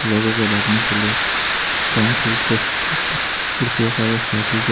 लोगों के बैठने के लिए कंक्रीट की कुर्सियों का व्यवस्था--